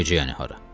Necə yəni hara?